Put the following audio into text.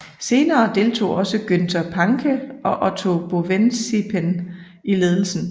Senere deltog også Günther Pancke og Otto Bovensiepen i ledelsen